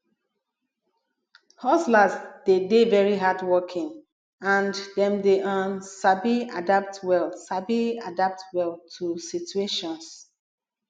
hustlers dey de very hardworking and dem dey um sabi adapt well sabi adapt well to situations